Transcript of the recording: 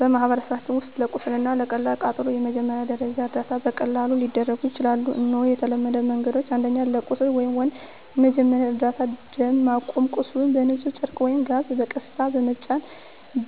በማህበረሰባችን ውስጥ ለቁስል እና ለቀላል ቃጠሎ የመጀመሪያ ደረጃ እርዳታ በቀላሉ ሊደረግ ይችላል። እነሆ የተለመዱ መንገዶች፦ 1. ለቁስል (Wound) መጀመሪያ እርዳታ ደም ማቆም – ቁስሉን በንጹህ ጨርቅ ወይም ጋዝ በቀስታ በመጫን